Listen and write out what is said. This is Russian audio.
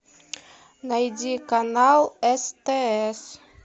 найди канал стс